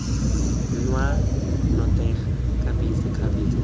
nwa nnotagi kgabetsa kgabetsa mme